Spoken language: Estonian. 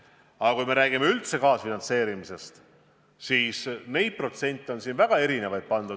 Aga kui me räägime kaasfinantseerimisest üldiselt, siis on protsente esitatud väga erinevaid.